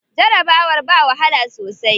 Jarabawar ba wahala sosai.